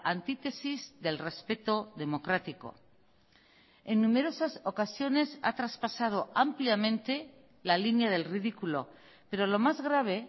antítesis del respeto democrático en numerosas ocasiones ha traspasado ampliamente la línea del ridículo pero lo más grave